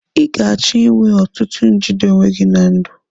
Ị ga-achọ inwe ọtụtụ njide onwe gị na ndụ.